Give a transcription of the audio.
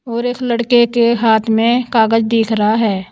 और एक लड़के के हाथ में कागज दिख रहा है।